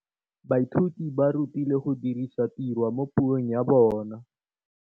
Baithuti ba rutilwe go dirisa tirwa mo puong ya bone.